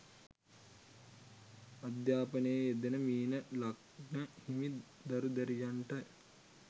අධ්‍යාපනයේ යෙදෙන මීන ලග්න හිමි දරු දැරියන්ට